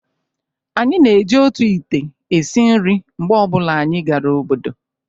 anyị na-eji otu ite esi nri mgbe ọ bụla anyị gara obodo